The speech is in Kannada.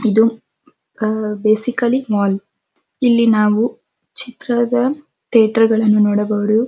ಇದು ಅಅ ಬಸಿಕಾಲಿ ಇಲ್ಲಿ ನಾವು ಚಿತ್ರದ ಥೀಯೇಟರ್ ಅನ್ನ ನೋಡಬಹುದು.